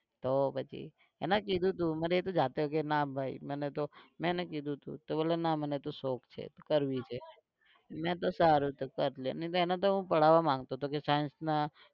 તો પછી એને કીધું તું મને એ જાતે કે ના ભઈ મને તો, મે એને કીધું તું તો બોલે ના મને તો શોખ છે, કરવી છે. મે તો સારું તો કર લે નહીં તો એને તો હું પઢાવા માંગતો તો કે કે science ના